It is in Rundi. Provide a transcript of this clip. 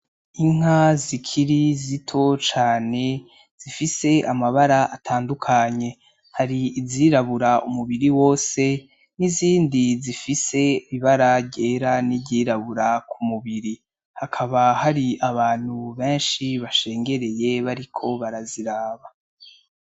Inka zikiri zito cane zifise amabara atandukanye. Hari izirabura umubiri wose n'izindi zifise ibara ryera n'iryirabura ku mubiri. Hakaba hari abantu benshi bashengereye bariko baraziraba.